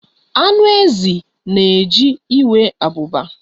Anụ ezi na-eji enwe abụba.